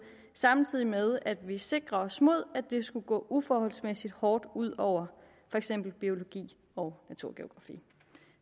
samtidig med at vi sikrer os mod at det skulle gå uforholdsmæssigt hårdt ud over for eksempel biologi og naturgeografi